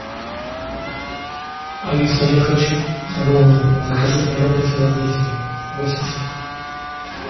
алиса я хочу роллы закажи мне роллы филадельфия восемь штук